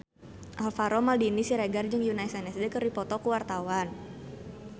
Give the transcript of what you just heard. Alvaro Maldini Siregar jeung Yoona SNSD keur dipoto ku wartawan